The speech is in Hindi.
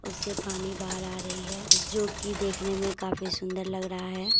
उससे पानी बाहर आ रही है जो की देखने में काफी सुंदर लग रहा है।